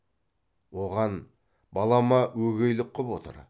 оған балама өгейлік қып отыр